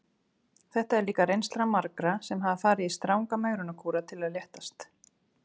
Þetta er líka reynsla margra sem hafa farið í stranga megrunarkúra til að léttast.